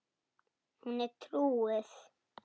Hún er trúuð.